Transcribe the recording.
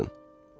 Açın.